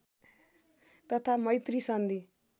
तथा मैत्री सन्धि